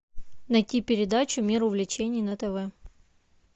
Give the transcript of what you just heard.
найти передачу мир увлечений на тв